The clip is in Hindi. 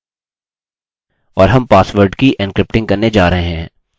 और हम पासवर्ड की एन्क्रिप्टिंग करने जा रहे हैं